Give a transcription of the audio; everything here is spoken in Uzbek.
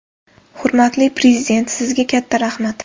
Hurmatli Prezident, sizga katta rahmat!